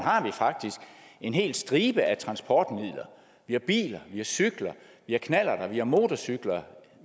har vi faktisk en hel stribe af transportmidler vi har biler vi har cykler vi har knallerter vi har motorcykler